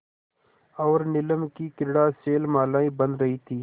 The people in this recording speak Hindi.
और नीलम की क्रीड़ा शैलमालाएँ बन रही थीं